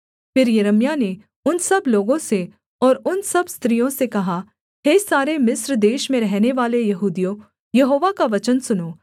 फिर यिर्मयाह ने उन सब लोगों से और उन सब स्त्रियों से कहा हे सारे मिस्र देश में रहनेवाले यहूदियों यहोवा का वचन सुनो